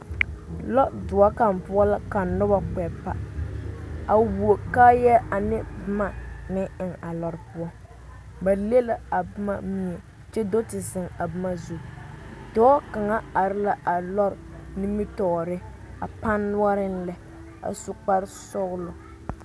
Lɔdoɔ kaŋ poɔ la ka noba kpɛ pa a who kaayɛ ane boma meŋ eŋ a lɔre poɔ ba le la a boma a do te zeŋ a boma zu dɔɔ kaŋ are la a lɔre nimitɔɔreŋ a pane noɔreŋ lɛ a su kpar sɔglɔ